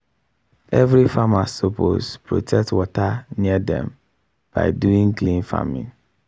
every farmer suppose protect water near dem by doing clean farming.